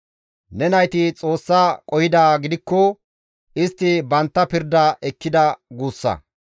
Ne nayti Xoossa qohidaa gidikko, istti bantta pirda ekkida guussa.